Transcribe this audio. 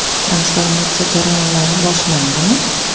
Transformatsiya jarayonlari boshlandimi?